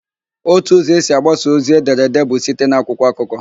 Ótù ụzọ esi agbasa ozi edere èdé bụ site n'akwụkwọ akụkọ.